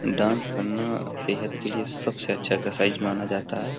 Dance करना सेहत के लिए सबसे अच्छा एक्सरसाइज माना जाता है ।